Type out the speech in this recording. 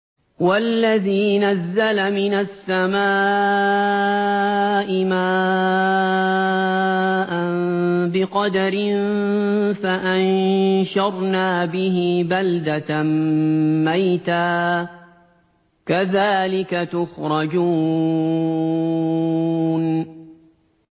وَالَّذِي نَزَّلَ مِنَ السَّمَاءِ مَاءً بِقَدَرٍ فَأَنشَرْنَا بِهِ بَلْدَةً مَّيْتًا ۚ كَذَٰلِكَ تُخْرَجُونَ